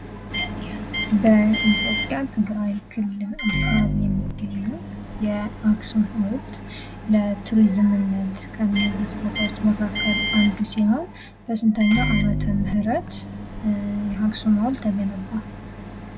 በኢትዮጵያ ትግራይ ክልል አካባቢ የሚገኘው የአክሱም ሀውልት ለቱሪዝምነት ከሚውሉት ቦታዎች መካከል አንዱ ሲሆን በስንተኛው ዓመተምህረት አክሱም ሀውልት ተገነባ?